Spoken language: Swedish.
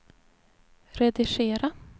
redigera